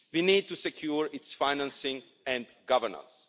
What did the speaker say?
We need to secure its financing and governance.